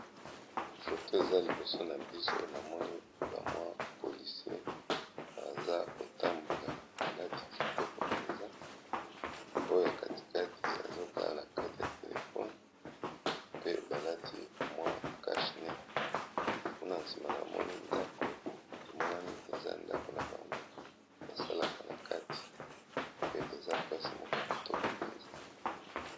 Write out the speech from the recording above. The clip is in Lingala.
foto eza liboso na biso namoni bamwa polisie aza kotambola balati kitoko mpenza oyo ya katikati azotala na kati ya telefone pe balati mwa cachne kuna nsima na bamoni ndako emonani eza ndako na bango basalaka na kati pe eza place moko ya kitoko mpenza